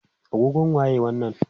agogon waye wannan?